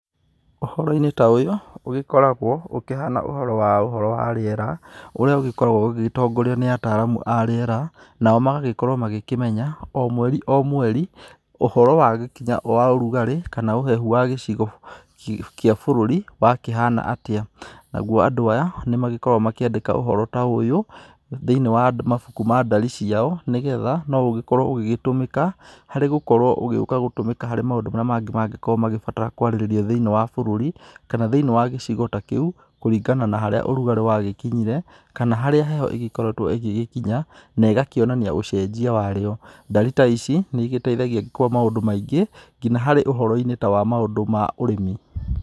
Ũhoro-inĩ ta ũyũ ũgĩkoragwo ũkĩhana ũhoro wa rĩera, ũrĩa ugĩkoragwo ũgĩtongorio nĩ ataaramu a rĩera nao magagĩkorwo magĩkĩmenya o mweri o mweri ũhoro wa gĩkinya wa ũrugarĩ kana ũhehu wa gĩcigo kĩa bũrũri wa kĩhana atĩa. Naguo andũ aya, nĩ magĩkoragwo makĩandĩka ũhoro ta ũyũ, thĩinĩ wa mabuku ma ndari ciao nĩgetha, no ugĩkorwo ũgĩtũmĩka harĩ gũkorwo ũgĩuka gũtũmĩka harĩ maũndu marĩa mangĩ mangĩgĩkorwo magĩbatara kwarĩrĩrio thĩinĩ wa bũrũri, kana thĩinĩ wa gĩcigo ta kĩu kũringana na harĩa ũrugarĩ wa gĩkinyire, kana harĩa heho ĩgĩkoretwo ĩgĩgĩkinya na ĩgakĩonania ucenjia wa rĩo, ndari ta ici nĩ igĩteithagia kwa maũndũ maingĩ, nginya hari ũhoro-inĩ ta wa maũndũ ma ũrĩmi.